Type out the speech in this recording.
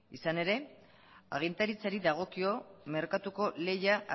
izan ere agintaritzari dagokio merkatuko lehia